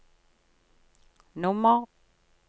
nummer